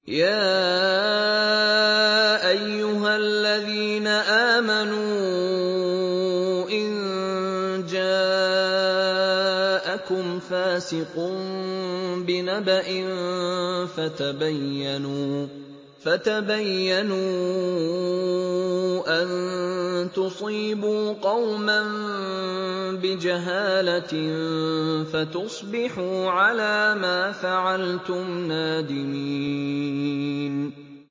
يَا أَيُّهَا الَّذِينَ آمَنُوا إِن جَاءَكُمْ فَاسِقٌ بِنَبَإٍ فَتَبَيَّنُوا أَن تُصِيبُوا قَوْمًا بِجَهَالَةٍ فَتُصْبِحُوا عَلَىٰ مَا فَعَلْتُمْ نَادِمِينَ